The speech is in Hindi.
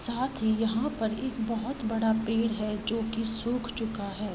साथ ही यहाँ पर एक बोहोत बड़ा पेड़ है जो कि सुख चूका है।